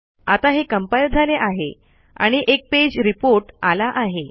आता हे कम्पाइल झाले आहे आणि एक पेज रेपोर्ट आला आहे